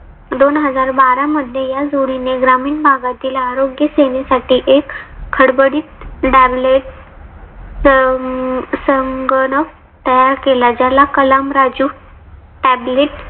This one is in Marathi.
दोन हजार बारा मध्ये या जोडीने ग्रामीण भागातील आरोग्य सेवेसाठी एक खडबडीत डार्लेट संग संगणक तयार केला. ज्याला कलाम राजू tablet